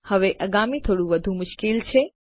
હવે આગામી થોડું વધુ મુશ્કેલ છે